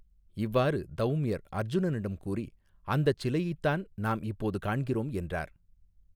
இவ்வாறு தௌம்யர் அர்ஜுனனிடம் கூறி அந்தச் சிலையைத் தான் நாம் இப்போது காண்கிறோம் என்றார்.